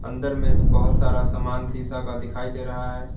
अंदर में बहुत सारा समान शीशा का दिखाई दे रहा है।